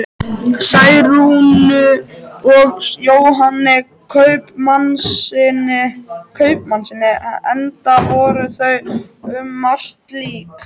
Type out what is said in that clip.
Særúnu og Jóhanni kaupmannssyni, enda voru þau um margt lík.